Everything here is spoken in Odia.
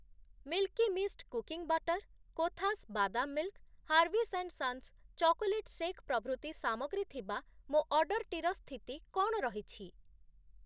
Milky Mist cooking butter, Kothas ବାଦାମ୍‌ milk, Harvis and Sons chocolate shake ପ୍ରଭୃତି ସାମଗ୍ରୀ ଥିବା ମୋ ଅର୍ଡ଼ର୍‌ଟିର ସ୍ଥିତି କ’ଣ ରହିଛି?